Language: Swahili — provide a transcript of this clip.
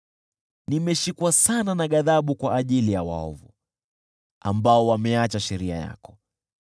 Nimeshikwa sana na ghadhabu kwa ajili ya waovu, ambao wameacha sheria yako.